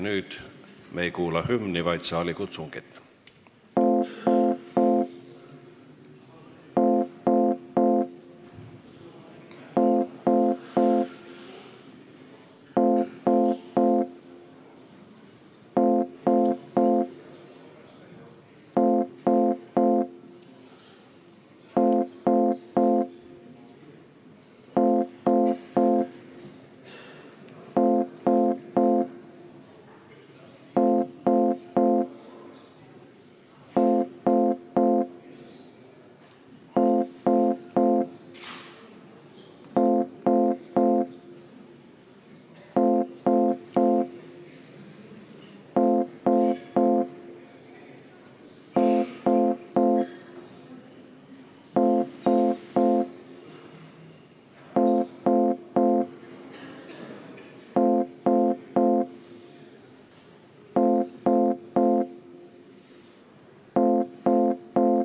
Nüüd me ei kuula hümni, vaid saalikutsungit.